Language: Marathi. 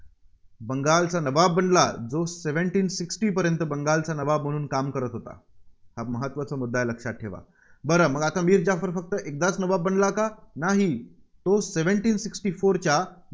बंगलाचा नवाब बनला. जो Seventeen sixty पर्यंत बंगालचा नवाब म्हणून काम करत होता. फार महत्त्वाचा मुद्दा आहे लक्षात ठेवा. बरं मग मीर जाफर फक्त एकदाच नवाब बनला का? नाही तो Seventeen sixty four च्या